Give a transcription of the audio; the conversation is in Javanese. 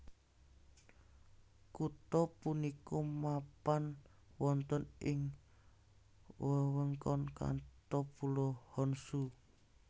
Kutha punika mapan wonten ing wewengkon Kanto Pulo Honshu